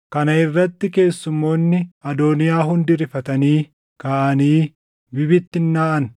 Kana irrati keessummoonni Adooniyaa hundi rifatanii kaʼanii bibittinnaaʼan.